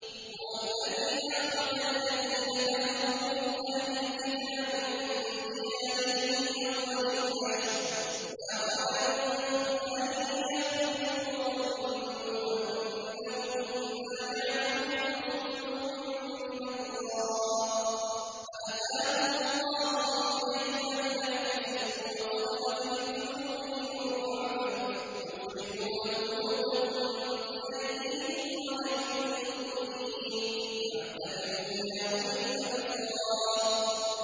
هُوَ الَّذِي أَخْرَجَ الَّذِينَ كَفَرُوا مِنْ أَهْلِ الْكِتَابِ مِن دِيَارِهِمْ لِأَوَّلِ الْحَشْرِ ۚ مَا ظَنَنتُمْ أَن يَخْرُجُوا ۖ وَظَنُّوا أَنَّهُم مَّانِعَتُهُمْ حُصُونُهُم مِّنَ اللَّهِ فَأَتَاهُمُ اللَّهُ مِنْ حَيْثُ لَمْ يَحْتَسِبُوا ۖ وَقَذَفَ فِي قُلُوبِهِمُ الرُّعْبَ ۚ يُخْرِبُونَ بُيُوتَهُم بِأَيْدِيهِمْ وَأَيْدِي الْمُؤْمِنِينَ فَاعْتَبِرُوا يَا أُولِي الْأَبْصَارِ